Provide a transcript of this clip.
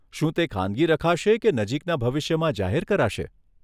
શું તે ખાનગી રખાશે કે નજીકના ભવિષ્યમાં જાહેર કરાશે?